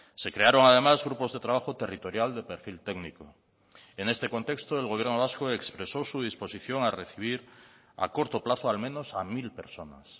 se crearon además grupos de trabajo territorial de perfil técnico en este contexto el gobierno vasco expresó su disposición a recibir a corto plazo al menos a mil personas